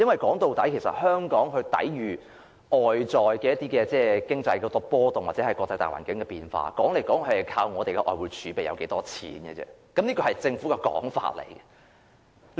說到底，香港抵禦外圍經濟波動或國際大環境變化的方法，說來說去，就是靠我們有多少外匯儲備，這是政府的說法。